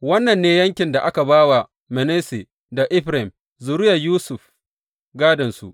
Wannan ne yankin da aka ba wa Manasse da Efraim zuriyar Yusuf gādonsu.